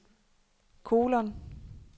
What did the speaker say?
kolon